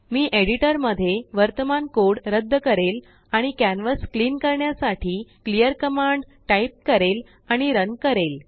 मी एडिटरमध्ये वर्तमान कोड रद्द करेल आणिकॅनवासक्लिन करण्यासाठी क्लिअर कमांड टाईप करेल आणि रन करेल